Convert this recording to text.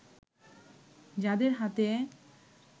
যাঁদের হাতে